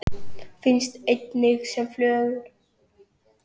Finnst einnig sem flögur.